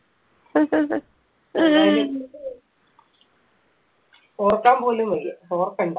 ഓർക്കാൻ പോലും വയ്യ ഓർക്കണ്ട